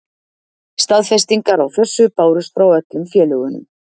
Staðfestingar á þessu bárust frá öllum félögunum.